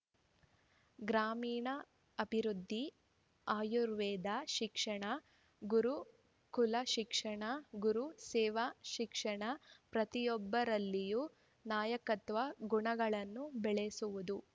ಗ್ರಾಮೀಣಾಭಿವೃದ್ದಿ ಆಯುರ್ವೇದ ಶಿಕ್ಷಣ ಗುರುಕುಲ ಶಿಕ್ಷಣ ಗುರು ಸೇವಾ ಶಿಕ್ಷಣ ಪ್ರತಿಯೊಬ್ಬರಲ್ಲಿಯೂ ನಾಯಕತ್ವ ಗುಣಗಳನ್ನು ಬೆಳೆಸುವುದು